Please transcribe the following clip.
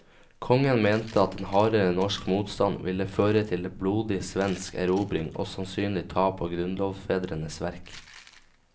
Kongen mente at en hardere norsk motstand ville føre til blodig svensk erobring og sannsynlig tap av grunnlovsfedrenes verk.